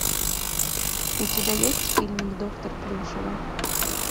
у тебя есть фильмик доктор плюшева